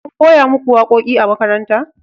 an koya muku waƙoƙi a makaranta?